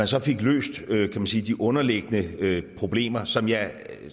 så fik løst kan man sige de underliggende problemer som jeg